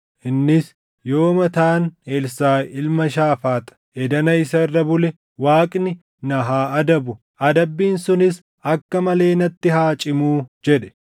Innis, “Yoo mataan Elsaaʼi ilma Shaafaax, edana isa irra bule, Waaqni na haa adabu; adabbiin sunis akka malee natti haa cimuu!” jedhe.